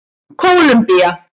Kólumbía